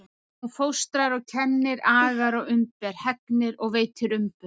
Hún fóstrar og kennir, agar og umber, hegnir og veitir umbun.